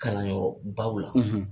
Kalanyɔrɔ baw la,